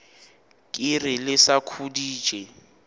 ke re le sa khuditše